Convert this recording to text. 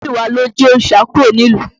Múyiwá ló jí òrìṣà kúrò nílùú.